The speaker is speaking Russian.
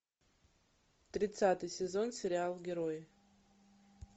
тридцатый сезон сериал герой